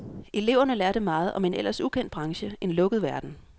Eleverne lærte meget om en ellers ukendt branche, en lukket verden.